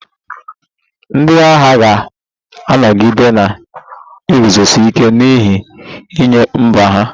Ndị agha ga-anọgide na-eguzosi ike n'ihe nye mba ha